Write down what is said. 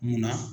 Munna